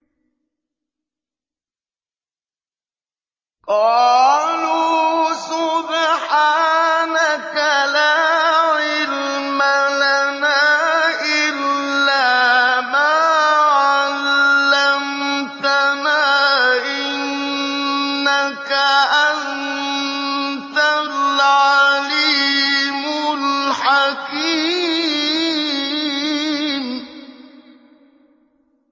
قَالُوا سُبْحَانَكَ لَا عِلْمَ لَنَا إِلَّا مَا عَلَّمْتَنَا ۖ إِنَّكَ أَنتَ الْعَلِيمُ الْحَكِيمُ